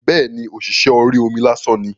Bẹ́ẹ̀ni, ọ̀ṣìṣẹ́ orí omi lásán ni